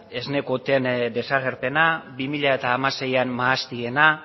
esne kuoten desagerpena bi mila hamaseiean mahastiena